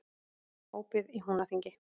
Hópið í Húnaþingi.